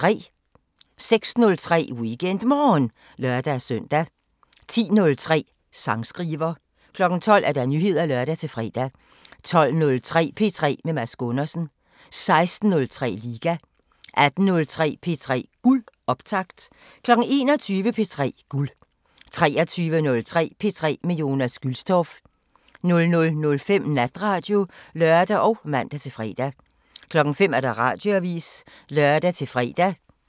06:03: WeekendMorgen (lør-søn) 10:03: Sangskriver 12:00: Nyheder (lør-fre) 12:03: P3 med Mads Gundersen 16:03: Liga 18:03: P3 Guld – optakt 21:00: P3 Guld 23:03: P3 med Jonas Gülstorff 00:05: Natradio (lør og man-fre) 05:00: Radioavisen (lør-fre)